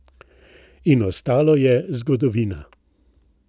In ostalo je zgodovina ...